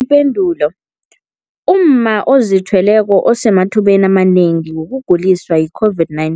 Ipendulo, umma ozithweleko usemathubeni amanengi wokuguliswa yi-COVID-19.